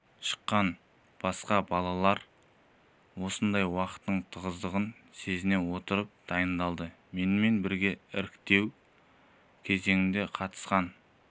шыққан басқа да балалар осындай уақыттың тығыздығын сезіне отырып дайындалды менімен бірге іріктеу кезеңіне қатысқан